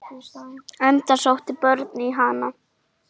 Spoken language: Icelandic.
Enda sóttu börnin í hann.